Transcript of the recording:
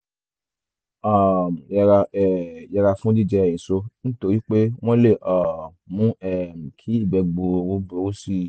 um yẹra um yẹra fún jíjẹ èso nítorí pé wọ́n lè um mú um kí ìgbẹ́ gbuuru burú sí i